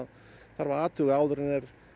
þarf að athuga áður en